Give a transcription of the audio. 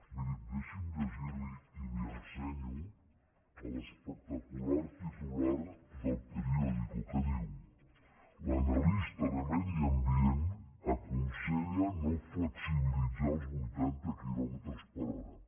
miri deixi’m llegir li i li ho ensenyo l’espectacular titular d’el periódico que diu l’analista de medi ambient aconsella no flexibilitzar els vuitanta quilòmetres per hora